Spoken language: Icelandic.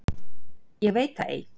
Ég veit það ei.